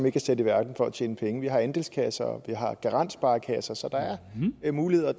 ikke er sat i verden for at tjene penge vi har andelskasser og vi har garantsparekasser så der er muligheder og